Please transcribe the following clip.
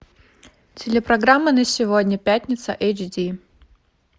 телепрограмма на сегодня пятница эйч ди